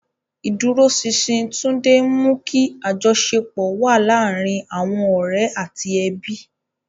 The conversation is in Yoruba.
Ìdúróṣinṣin Tunde ń mú kí àjọṣepọ̀ wà láàárín àwọn ọ̀rẹ́ àti ẹbí.